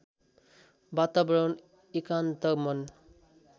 वातावरण एकान्त मन